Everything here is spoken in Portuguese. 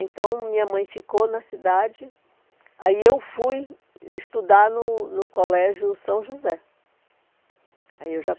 Então, minha mãe ficou na cidade, aí eu fui estudar no no Colégio São José. Aí eu já